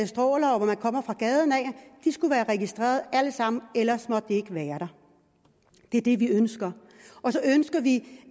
stråler og hvor man kommer fra gaden skulle være registreret alle sammen ellers måtte de ikke være der det er det vi ønsker så ønsker vi